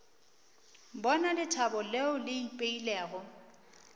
bona lethabo leo le ipeilego